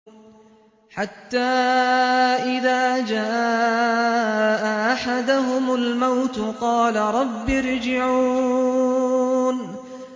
حَتَّىٰ إِذَا جَاءَ أَحَدَهُمُ الْمَوْتُ قَالَ رَبِّ ارْجِعُونِ